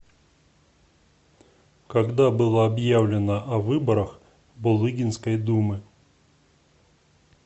когда было объявлено о выборах булыгинской думы